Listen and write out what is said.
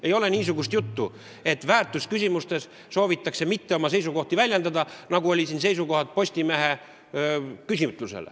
Ei tohi olla, et väärtusküsimustes ei soovita oma seisukohti väljendada, nagu ilmnes Postimehe küsitluses.